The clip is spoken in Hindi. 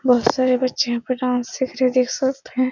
बोहोत सारे बच्चे यहाँ पे डांस सीख रहे है देख सकते हैं।